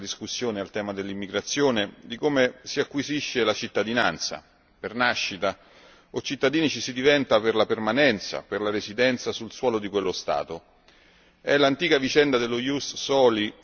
In molti paesi si discute, spesso legando questa discussione al tema dell'immigrazione, di come si acquisisce la cittadinanza si diventa cittadini per nascita oppure per la permanenza o per la residenza sul suolo